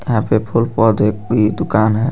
यहां पे फुल पौधे की दुकान है.